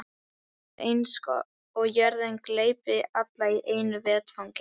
Það er eins og jörðin gleypi alla í einu vetfangi.